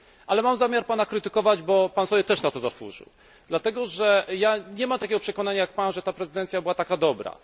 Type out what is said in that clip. Ale mam zamiar Pana krytykować, bo Pan sobie też na to zasłużył. Dlatego, że ja nie mam takiego przekonania jak Pan, że ta prezydencja była taka dobra.